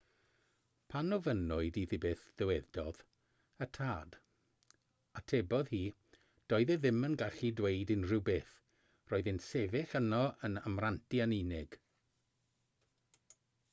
pan ofynnwyd iddi beth ddywedodd y tad atebodd hi doedd e ddim yn gallu dweud unrhyw beth - roedd e'n sefyll yno yn amrantu yn unig